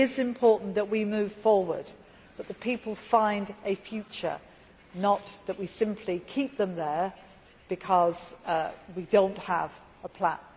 It is important that we move forward and that the people find a future, not that we simply keep them there because we do not have a plan.